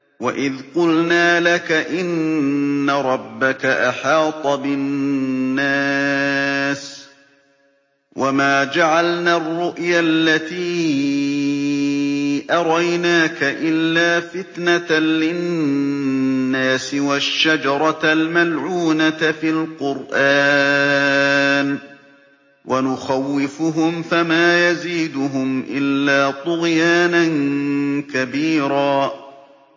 وَإِذْ قُلْنَا لَكَ إِنَّ رَبَّكَ أَحَاطَ بِالنَّاسِ ۚ وَمَا جَعَلْنَا الرُّؤْيَا الَّتِي أَرَيْنَاكَ إِلَّا فِتْنَةً لِّلنَّاسِ وَالشَّجَرَةَ الْمَلْعُونَةَ فِي الْقُرْآنِ ۚ وَنُخَوِّفُهُمْ فَمَا يَزِيدُهُمْ إِلَّا طُغْيَانًا كَبِيرًا